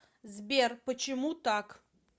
сбер почему так